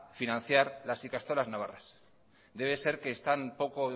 financiar las ikastolas navarras debe ser que están poco